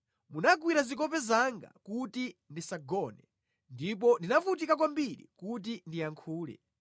Munagwira zikope zanga kuti ndisagone ndipo ndinavutika kwambiri kuti ndiyankhule.